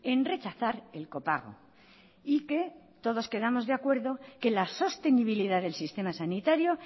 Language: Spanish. en rechazar el copago y que todos quedamos de acuerdo que la sostenibilidad del sistema sanitario